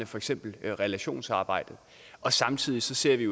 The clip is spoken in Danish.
for eksempel relationsarbejde samtidig ser vi